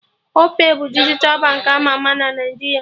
Opay bụ dijital bank ama ama na Naijiria